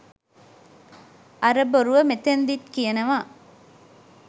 අර බොරුව මෙතනදීත් කියනවා